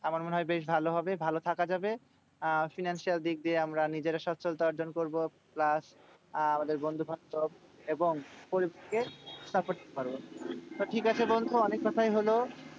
আমার মনে হয় বেশ ভালো হবে। ভালো থাকা যাবে। আর financial দিক দিয়ে আমরা নিজেরা সচ্ছলতা অর্জন করবো। plus আহ আমাদের বন্ধুবান্ধব এবং তো ঠিকাছে বন্ধু অনেক কথাই হলো।